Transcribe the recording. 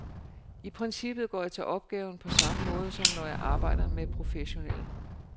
I princippet går jeg til opgaven på samme måde som når jeg arbejder med professionelle.